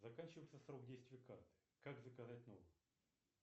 заканчивается срок действия карты как заказать новую